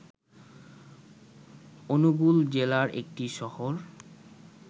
অনুগুল জেলার একটি শহর।